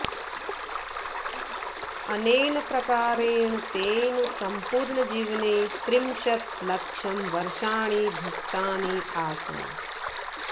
अनेन प्रकारेण तेन सम्पूर्णजीवने त्रिंशत् लक्षं वर्षाणि भुक्तानि आसन्